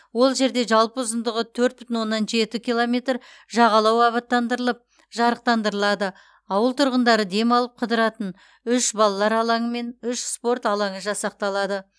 ол жерде жалпы ұзындығы төрт бүтін оннан жеті километр жағалау абаттандырылып жарықтандырылады ауыл тұрғындары демалып қыдыратын үш балалар алаңы мен үш спорт алаңы жасақталады